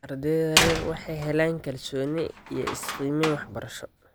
Ardayda rer waxay helaan kalsooni iyo is-qiimeyn waxbarasho.